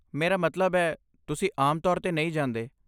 ਮੇਰਾ ਮਤਲਬ ਹੈ, ਤੁਸੀਂ ਆਮ ਤੌਰ 'ਤੇ ਨਹੀਂ ਜਾਂਦੇ